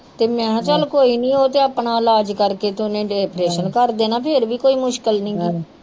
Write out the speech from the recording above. ਤੇ ਮੈ ਕਿਹਾ ਚਲ ਕੋਈ ਨੀ ਉਹ ਤੇ ਆਪਣਾ ਇਲਾਜ ਕਰ ਕ ਤੇ ਓਹਨੇ ਆਪ੍ਰੇਸਨ ਕਰਨ ਦੇਣਾ ਫੇਰ ਵੀ ਕੋਈ ਮੁਸਕਲ ਨੀ